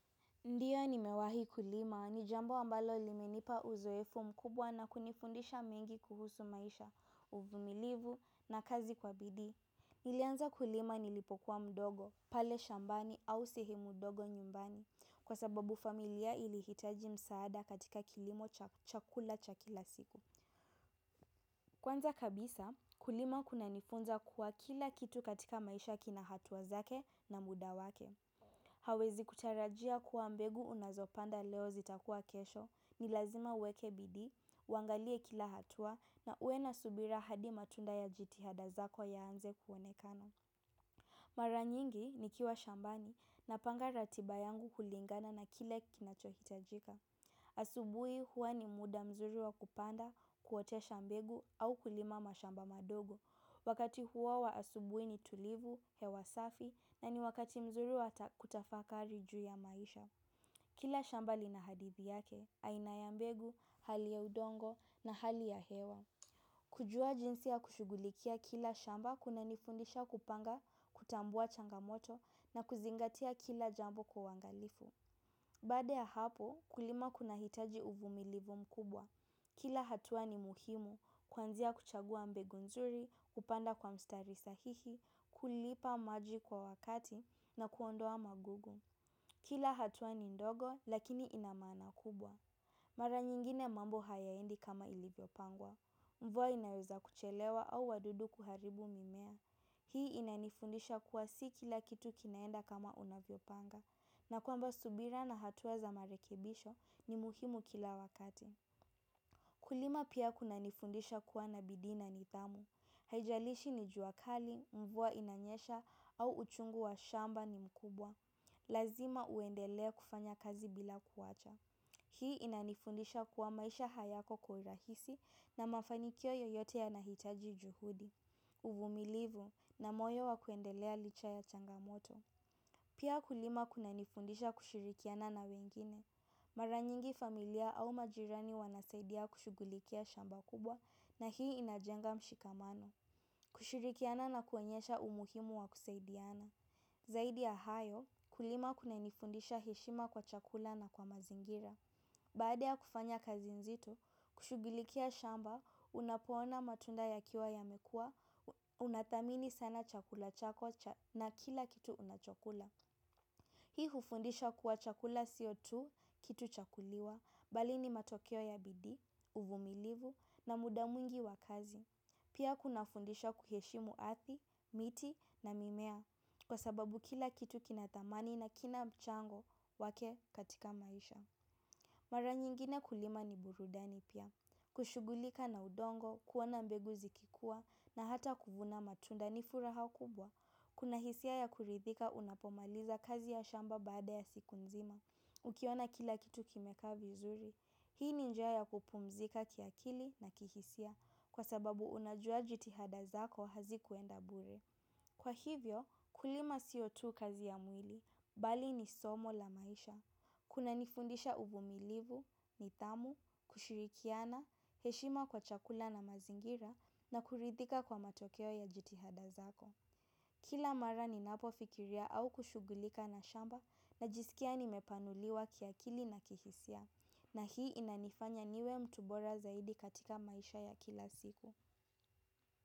Ndiyo nimewahi kulima, ni jambo ambalo limenipa uzoefu mkubwa na kunifundisha mengi kuhusu maisha, uvumilivu na kazi kwa bidii. Nilianza kulima nilipokuwa mdogo, pale shambani au sehemu ndogo nyumbani, kwa sababu familia ilihitaji msaada katika kilimo cha chakula cha kila siku. Kwanza kabisa, kulima kunanifunza kuwa kila kitu katika maisha kina hatua zake na muda wake. Hauwezi kutarajia kuwa mbegu unazopanda leo zitakuwa kesho, ni lazima uweke bidii, uangalie kila hatua na uwe na subira hadi matunda yajitihada zako yaanze kuonekana. Mara nyingi nikiwa shambani napanga ratiba yangu kulingana na kile kinachohitajika. Asubuhi huwa ni muda mzuri wa kupanda, kuotesha mbegu au kulima mashamba madogo. Wakati huo wa asubuhi ni tulivu, hewa safi na ni wakati mzuri wa kutafakari juu ya maisha. Kila shamba lina hadithi yake, aina ya mbegu, hali ya udongo na hali ya hewa. Kujua jinsi ya kushughulikia kila shamba kunanifundisha kupanga, kutambua changamoto na kuzingatia kila jambo kwa uangalifu. Baada ya hapo kulima kunahitaji uvumilivu mkubwa. Kila hatua ni muhimu kuanzia kuchagua mbegu nzuri, kupanda kwa mstari sahihi, kulipa maji kwa wakati na kuondoa magogo. Kila hatuwa ni ndogo lakini inamana kubwa. Mara nyingine mambo hayaendi kama ilivyopangwa. Mvua inaweza kuchelewa au wadudu kuharibu mimea. Hii inanifundisha kuwa si kila kitu kinaenda kama unavyopanga. Na kwamba subira na hatua za marekebisho ni muhimu kila wakati. Kulima pia kunanifundisha kuwa na bidii na nidhamu. Haijalishi ni jua kali, mvua inanyesha au uchungu wa shamba ni mkubwa. Lazima uendelee kufanya kazi bila kuwacha. Hii inanifundisha kuwa maisha hayako kwa urahisi na mafanikio yoyote yanahitaji juhudi. Uvumilivu na moyo wa kuendelea licha ya changamoto. Pia kulima kunanifundisha kushirikiana na wengine. Mara nyingi familia au majirani wanasaidia kushughulikia shamba kubwa na hii inajenga mshikamano. Kushirikiana na kuonyesha umuhimu wa kusaidiana. Zaidi ya hayo kulima kunanifundisha heshima kwa chakula na kwa mazingira. Baada ya kufanya kazi nzito, kushughulikia shamba, unapoona matunda yakiwa yamekua, unathamini sana chakula chako na kila kitu unachokula. Hii hufundisha kuwa chakula siyo tu kitu cha kuliwa, bali ni matokeo ya bidii, uvumilivu na muda mwingi wa kazi. Pia kunafundisha kuheshimu ardhi, miti na mimea kwa sababu kila kitu kina thamani na kina mchango wake katika maisha. Mara nyingine kulima ni burudani pia. Kushughulika na udongo, kuona mbegu zikikua na hata kuvuna matunda, ni furaha kubwa. Kuna hisia ya kuridhika unapomaliza kazi ya shamba baada ya siku nzima. Ukiona kila kitu kimekaa vizuri. Hii ni njia ya kupumzika kiakili na kihisia kwa sababu unajua jitihada zako hazikuenda bure. Kwa hivyo, kulima siyo tu kazi ya mwili, bali ni somo la maisha, kunanifundisha uvumilivu, nidhamu, kushirikiana, heshima kwa chakula na mazingira na kuridhika kwa matokeo ya jitihada zako. Kila mara ninapofikiria au kushughulika na shamba najisikia nimepanuliwa kiakili na kihisia, na hii inanifanya niwe mtu bora zaidi katika maisha ya kila siku.